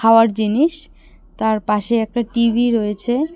খাওয়ার জিনিস তারপাশে একটা টি_ভি রয়েছে।